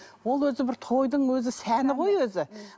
ол өзі бір тойдың өзі сәні ғой өзі